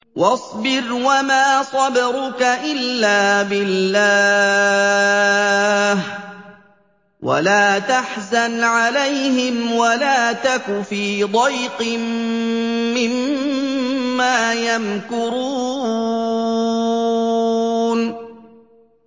وَاصْبِرْ وَمَا صَبْرُكَ إِلَّا بِاللَّهِ ۚ وَلَا تَحْزَنْ عَلَيْهِمْ وَلَا تَكُ فِي ضَيْقٍ مِّمَّا يَمْكُرُونَ